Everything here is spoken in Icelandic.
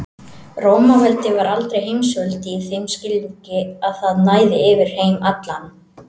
Rómaveldi var aldrei heimsveldi í þeim skilningi að það næði yfir heim allan.